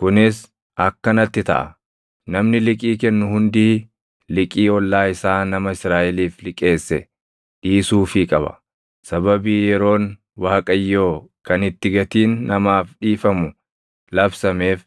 Kunis akkanatti taʼa: namni liqii kennu hundii liqii ollaa isaa nama Israaʼeliif liqeesse dhiisuufii qaba. Sababii yeroon Waaqayyoo kan itti gatiin namaaf dhiifamu labsameef